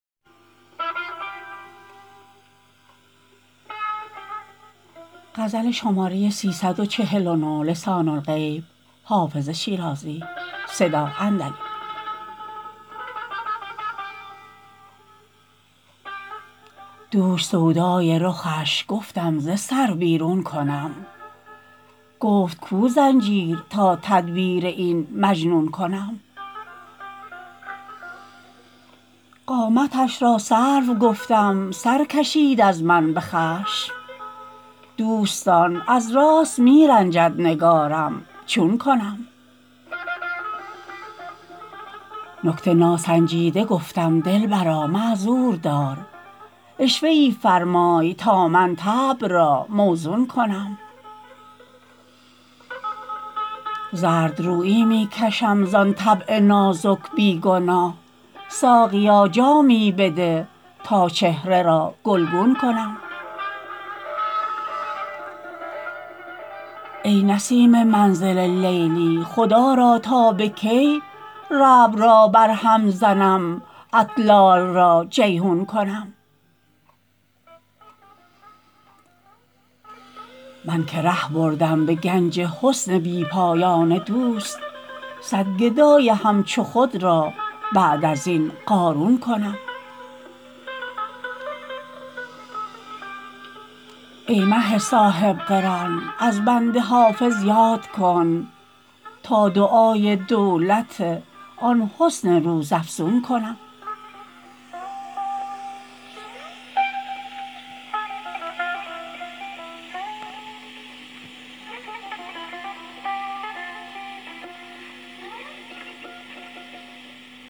دوش سودای رخش گفتم ز سر بیرون کنم گفت کو زنجیر تا تدبیر این مجنون کنم قامتش را سرو گفتم سر کشید از من به خشم دوستان از راست می رنجد نگارم چون کنم نکته ناسنجیده گفتم دلبرا معذور دار عشوه ای فرمای تا من طبع را موزون کنم زردرویی می کشم زان طبع نازک بی گناه ساقیا جامی بده تا چهره را گلگون کنم ای نسیم منزل لیلی خدا را تا به کی ربع را برهم زنم اطلال را جیحون کنم من که ره بردم به گنج حسن بی پایان دوست صد گدای همچو خود را بعد از این قارون کنم ای مه صاحب قران از بنده حافظ یاد کن تا دعای دولت آن حسن روزافزون کنم